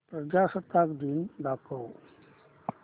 प्रजासत्ताक दिन दाखव